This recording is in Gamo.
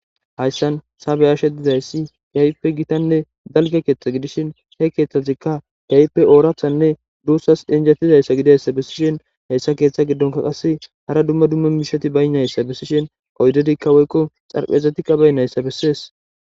Haysan ta be'ashe dizaysi kehipe gitane dalga ketha gidishin he kethazika kehipe orathanne dusas injetizayssa gidiyaysa besishen heysa gidonka qasi hara duma duma mishati baynaysa bisishe oydika woyko dharaphezatika baynaysa beses.